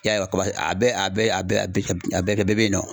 I y'a ye kuba a bɛɛ a bɛɛ a bɛɛ bɛ a bɛɛ kɛ bɛɛ bɛ yen nɔ